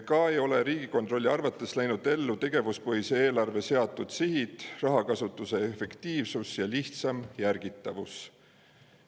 Samuti ei ole Riigikontrolli arvates läinud ellu tegevuspõhise eelarve seatud sihid, rahakasutuse efektiivsus ja lihtsam jälgitavus.